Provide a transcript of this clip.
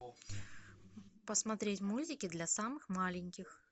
посмотреть мультики для самых маленьких